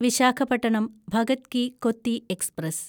Visakhapatnam Bhagat ki Kothi express